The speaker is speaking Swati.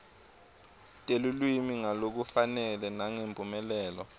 telulwimi ngalokufanele nangemphumelelo